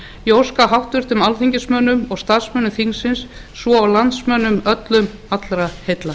ég óska háttvirtum alþingismönnum og starfsmönnum þingsins svo og landsmönnum öllum allra heilla